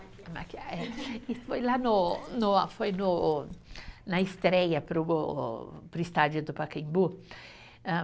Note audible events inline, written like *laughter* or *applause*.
*unintelligible* Isso foi lá no no, foi no, na estreia para o go, para o estádio do Pacaembu., hã